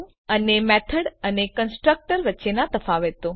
અને મેથડ અને કન્સ્ટ્રક્ટર વચ્ચેનાં તફાવતો